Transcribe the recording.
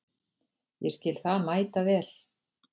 Ég skil það mæta vel.